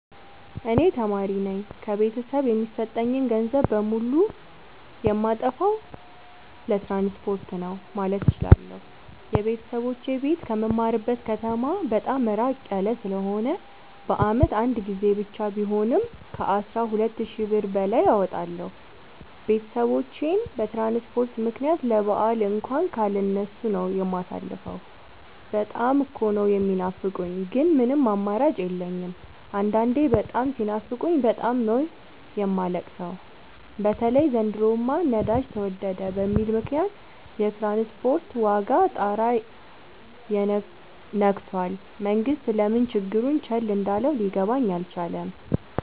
እኔ ተማሪነኝ ከቤተሰብ የሚሰጠኝን ገንዘብ በሙሉ ጨየማጠፋው ትራንስፖርት ነው። ማለት እችላለሁ። የቤተሰቦቼ ቤት ከምማርበት ከተማ በጣም እራቅ ያለ ስለሆነ በአመት አንድ ጊዜ ብቻ ቢሆንም ከአስራ ሁለት ሺ ብር በላይ አወጣለሁ። ቤተሰቦቼን በትራንስፖርት ምክንያት ለበአል እንኳን ካለ እነሱ ነው። የማሳልፈው በጣም እኮ ነው። የሚናፍቁኝ ግን ምንም አማራጭ የለኝም አንዳንዴ በጣም ሲናፍቁኝ በጣም ነው የማለቅ ሰው በተለይ ዘንድሮማ ነዳጅ ተወደደ በሚል ምክንያት የትራንስፖርት ዋጋ ጣራ የክቶል መንግስት ለምን ችግሩን ቸል እንዳለው ሊገባኝ አልቻለም።